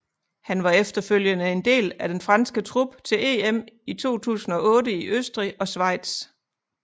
Han var efterfølgende en del af den franske trup til EM i 2008 i Østrig og Schweiz